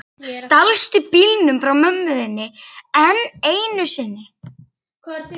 Stalstu bílnum frá mömmu þinni enn einu sinni?